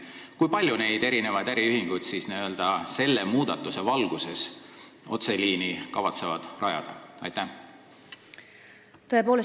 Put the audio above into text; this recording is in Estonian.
Kui paljud äriühingud siis selle muudatuse valguses kavatsevad otseliini rajada?